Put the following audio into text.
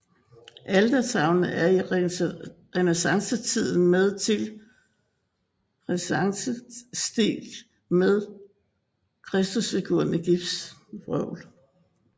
Altertavlen er i renæssancestil med Kristusfigur i gips